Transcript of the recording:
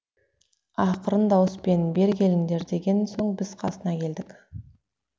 ақырын дауыспен бері келіңдер деген соң біз қасына келдік